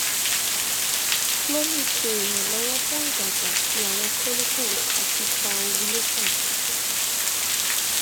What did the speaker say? clomid ṣe iranlọwọ fun idagba ti awọn follicles ati fa ovulation